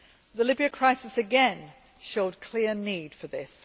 The Libya crisis again showed clear need for this.